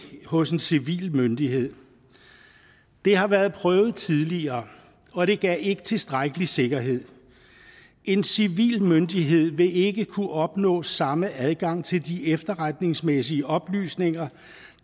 hos en civil myndighed det har været prøvet tidligere og det gav ikke tilstrækkelig sikkerhed en civil myndighed vil ikke kunne opnå samme adgang til de efterretningsmæssige oplysninger